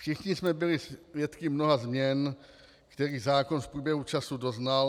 Všichni jsme byli svědky mnoha změn, kterých zákon v průběhu času doznal.